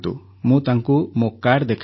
ମୁଁ ତାଙ୍କୁ ମୋ କାର୍ଡ଼ ଦେଖାଇଲି